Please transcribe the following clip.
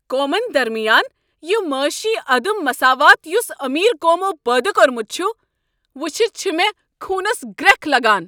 قومن درمیان یہ معٲشی عدم مساوات یُس امیر قومو پٲدٕ كورمُت چھُ، وٕچھِتھ چھےٚ مے٘ خوٗنس گرٛٮ۪کھ لگان۔